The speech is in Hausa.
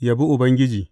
Yabi Ubangiji.